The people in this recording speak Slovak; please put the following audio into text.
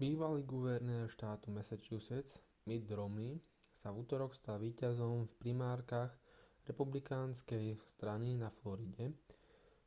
bývalý guvernér štátu massachusetts mitt romney sa v utorok stal víťazom v primárkach republikánskej strany na floride